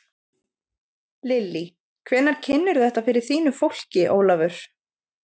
Lillý: Hvenær kynnirðu þetta fyrir þínu fólki, Ólafur?